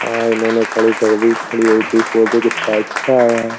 हाँ इन्होंने खड़ी कर दी। खड़ी हुई की फोटो कितना अच्छा है।